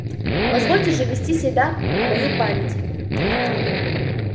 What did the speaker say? позволь же ввести себя в мою память